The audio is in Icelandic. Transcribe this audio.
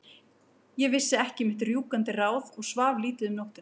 Ég vissi ekki mitt rjúkandi ráð og svaf lítið um nóttina.